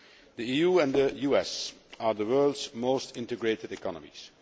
The EU and the US are the world's most integrated economies